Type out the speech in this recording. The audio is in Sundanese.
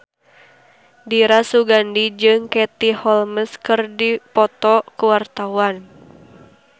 Dira Sugandi jeung Katie Holmes keur dipoto ku wartawan